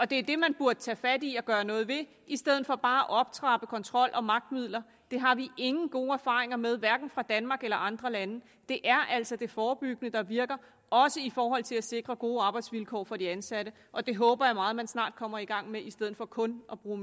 det er det man burde tage fat i og gøre noget ved i stedet for bare at optrappe kontrol og magtmidler det har vi ingen gode erfaringer med hverken fra danmark eller andre lande det er altså det forebyggende der virker også i forhold til at sikre gode arbejdsvilkår for de ansatte og det håber jeg meget at man snart kommer i gang med i stedet for kun at bruge